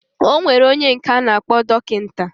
Enwere onye nka ana akpo dokita.